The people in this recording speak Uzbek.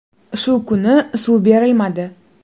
Shu kuni suv berilmadi.